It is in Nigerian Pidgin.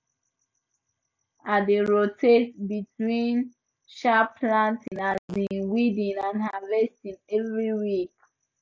i dey rotate between um planting um weeding and harvesting every week